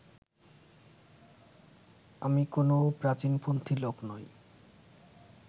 আমি কোনও প্রাচীনপন্থী লোক নই